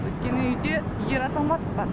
өйткені үйде ер азамат бар